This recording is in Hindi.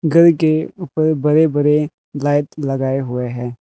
घर के ऊपर बड़े बड़े लाइट लगाए हुए हैं।